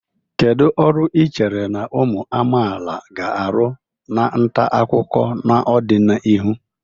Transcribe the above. Kedu ọrụ ị chere na ụmụ amaala ga-arụ na nta akụkọ n'ọdịnihu?